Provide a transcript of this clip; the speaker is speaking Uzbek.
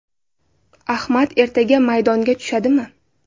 Ahmad ertaga maydonga tushadimi?